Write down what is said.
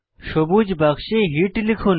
সবুজ বাক্সে হিট লিখুন